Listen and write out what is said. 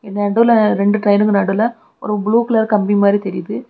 நடுவுல ரெண்டு ட்ரெயினுக்கு நடுவுல ஒரு ப்ளூ கலர் கம்பி மாதிரி தெரிது.